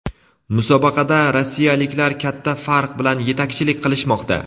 Musobaqada rossiyaliklar katta farq bilan yetakchilik qilishmoqda.